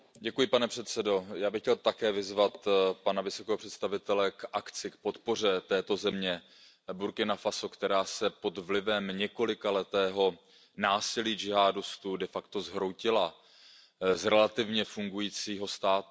Pane předsedající, já bych chtěl také vyzvat pana vysokého představitele k akci, k podpoře této země Burkina Faso, která se pod vlivem několikaletého násilí džihádistů de facto zhroutila z relativně fungujícího státu.